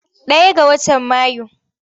Ɗaya ga watan Mayu.